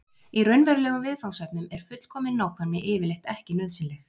í raunverulegum viðfangsefnum er fullkomin nákvæmni yfirleitt ekki nauðsynleg